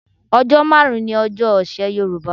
Ọjọ́ márùn-ún ni ọjọ́ ọ̀sẹ̀ Yorùbá.